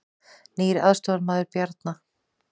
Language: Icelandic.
Nýr aðstoðarmaður Bjarna